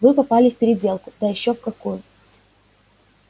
вы попали в переделку да ещё в какую